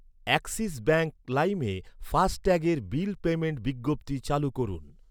Axis bank লাইমে ফাস্ট্যাগের bill পেইমেন্টের বিজ্ঞপ্তি চালু করুন।